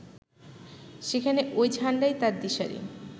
সেখানে ওই ঝান্ডাই তাঁর দিশারি